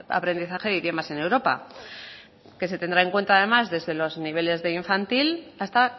aprendizaje de idiomas en europa que se tendrá en cuenta además desde los niveles de infantil hasta